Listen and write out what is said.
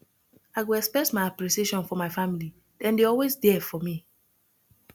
i go express my appreciation for my family dem dey always there for me